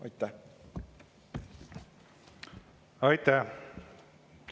Aitäh!